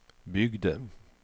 byggde